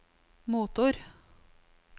motor